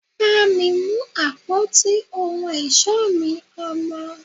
bá mi mú àpótí ohun ọ̀ṣọ́ mi, Ọmọ